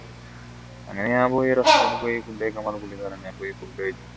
അങ്ങനെ ഞാൻ പോയി restaurant പോയി food കഴിക്കുമ്പോ പുള്ളിക്കാരൻ